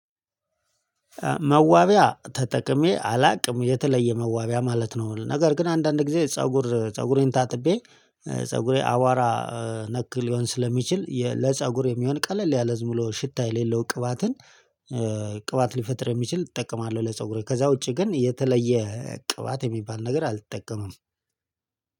መዋቢያ ተጠቅሜ አላውቅም የተለየ መዋቢያ ማለት ነው። ነገር ግን አንዳንድ ጊዜ ፀጉር ፀጉሬን ታጥቤ ፀጉሬ አዋራ። ነክ ሊሆን ስለሚችል የ ለፀጉር የሚሆን ቀለል ያለ ዝምብሎ ሽታ የሌለው ቅባትን ቅባት ሊፈጥር የሚችል እጠቀማለሁ። ለፀጉሬ ከዛ ውጪ ግን የተለየ ቅባት የሚባል ነገር አልተጠቀመም።